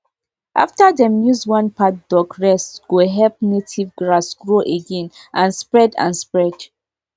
after dem use one paddock rest go help native grass grow again and spread and spread